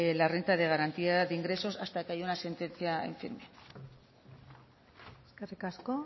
la renta de garantía de ingresos hasta que haya una sentencia en firme eskerrik asko